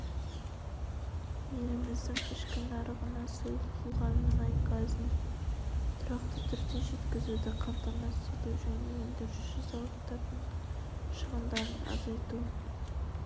еліміздің ішкі нарығына сұйылтылған мұнай газын тұрақты түрде жеткізуді қамтамасыз ету және өндіруші зауыттардың шығындарын азайту